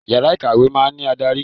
Yàrá ìkàwé máa ń ní adarí.